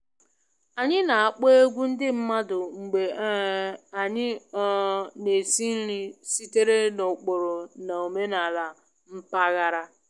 Anyị na-akpọ egwu ndị mmadụ mgbe um anyị um na-esi nri sitere n'ụkpụrụ na omenala mpaghara